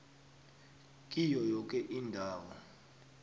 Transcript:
kiyo yoke indawo